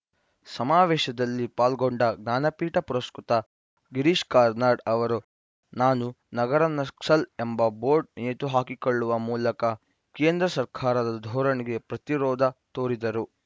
ಸಮಾವೇಶದಲ್ಲಿ ಪಾಲ್ಗೊಂಡ ಜ್ಞಾನಪೀಠ ಪುರಸ್ಕೃತ ಗಿರೀಶ್‌ ಕಾರ್ನಾಡ್‌ ಅವರು ನಾನು ನಗರ ನಕ್ಸಲ್‌ ಎಂಬ ಬೋರ್ಡ್‌ ನೇತುಹಾಕಿಕೊಳ್ಳುವ ಮೂಲಕ ಕೇಂದ್ರ ಸರ್ಕಾರದ ಧೋರಣೆಗೆ ಪ್ರತಿರೋಧ ತೋರಿದರು